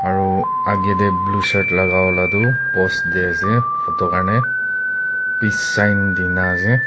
aro age te blue shirt laga wala toh pose di ase photo karne peace sign dhina ase.